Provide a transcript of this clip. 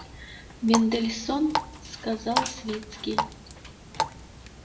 мендельсон сказал свицкий